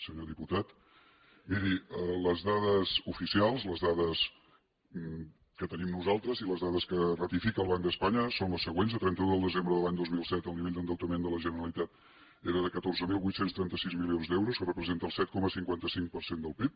senyor diputat miri les dades oficials les dades que tenim nosaltres i les dades que ratifica el banc d’espanya són les següents a trenta un de desembre de l’any dos mil set el nivell d’endeutament de la generalitat era de catorze mil vuit cents i trenta sis milions d’euros que representa el set coma cinquanta cinc per cent del pib